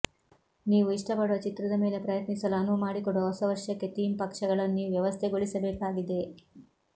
ನೀವು ಇಷ್ಟಪಡುವ ಚಿತ್ರದ ಮೇಲೆ ಪ್ರಯತ್ನಿಸಲು ಅನುವು ಮಾಡಿಕೊಡುವ ಹೊಸ ವರ್ಷಕ್ಕೆ ಥೀಮ್ ಪಕ್ಷಗಳನ್ನು ನೀವು ವ್ಯವಸ್ಥೆಗೊಳಿಸಬೇಕಾಗಿದೆ